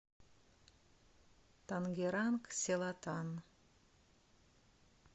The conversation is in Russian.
тангеранг селатан